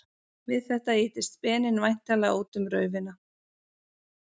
Við þetta ýtist speninn væntanlega út um raufina.